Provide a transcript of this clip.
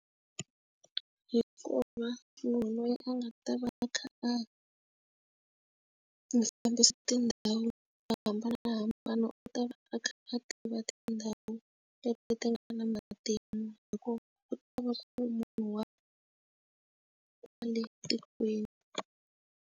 Hikuva munhu loyi a nga ta va a kha a fambisa tindhawu to hambanahambana u ta va a kha a tiva tindhawu leti ti nga na matimu, hikuva ku ta va ku ri munhu wa kwale tikweni.